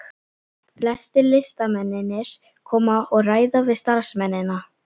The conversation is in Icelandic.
Flestir listamennirnir koma og ræða við starfsmennina.